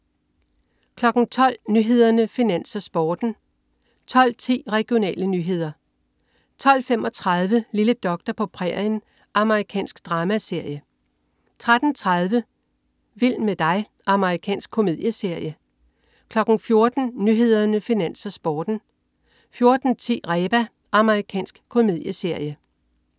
12.00 Nyhederne, Finans, Sporten (man-fre) 12.10 Regionale nyheder (man-fre) 12.35 Lille doktor på prærien. Amerikansk dramaserie (man-fre) 13.30 Vild med dig. Amerikansk komedieserie 14.00 Nyhederne, Finans, Sporten (man-fre) 14.10 Reba. Amerikansk komedieserie (man-fre)